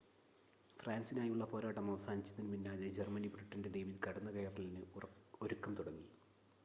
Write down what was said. ഫ്രാൻസിനായുള്ള പോരാട്ടം അവസാനിച്ചതിനു പിന്നാലെ ജർമ്മനി ബ്രിട്ടൻ്റെ ദ്വീപിൽ കടന്നുകയറലിന് ഒരുക്കം തുടങ്ങി